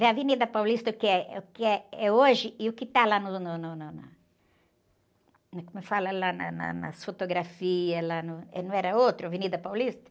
Vê a Avenida Paulista que é, que eh, é hoje e o que está lá no, no, no, na... Como fala lá na, na, na, nas fotografias, não era outro Avenida Paulista?